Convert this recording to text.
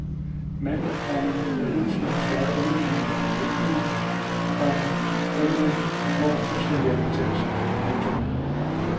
Manden, komma der hidtil har svaret undvigende eller benægtede, komma undlod i går fuldstændig at udtale sig. punktum